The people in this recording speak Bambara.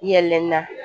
Yɛlɛnna